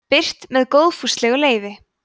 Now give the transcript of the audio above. birt með góðfúslegu leyfi